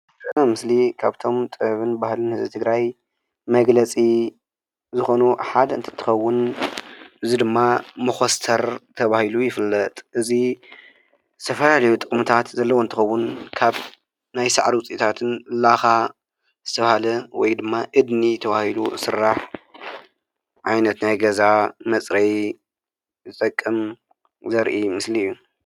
እዛ ምስሊ ካብቶም ጥበብን ባህልን ህዝቢ ትግራይ መግለፂ ዝኾኑ ሓደ እንትትከውን እዚ ድማ መኾስተር ተባሂሉ ይፍለጥ፡፡ እዚ ዝተፈላለዩ ጥቅምታት ዘለዎ እንትኸውን ካብ ናይ ሳዕሪ ውፅኢታትን ላኻ ዝተባህለ ወይ ድማ እድኒ ተባሂሉ ዝስራሕ ዓይነት ናይ ገዛ መፅረዪ ዝጠቅም ዘርኢ ምስሊ እዩ፡፡